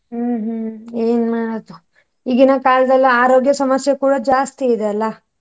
ಹ್ಮ್ ಹ್ಮ್ ಏನ್ಮಾಡೋದು ಈಗಿನ ಕಾಲದಲ್ಲಿ ಆರೋಗ್ಯ ಸಮಸ್ಯೆ ಕೂಡ ಜಾಸ್ತಿ ಇದೆ ಅಲ್ಲ?